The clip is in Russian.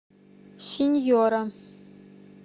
синьора